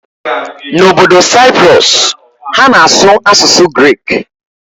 N'obodo Cyprus, ha na-asụ asụsụ Grik.